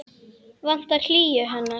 Vantar hlýju hennar.